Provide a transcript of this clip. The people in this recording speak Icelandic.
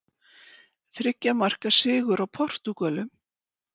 Þriggja marka sigur á Portúgölum